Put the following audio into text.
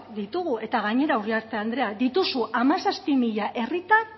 ditugu eta gainera uriarte andrea dituzu hamazazpi mila herritar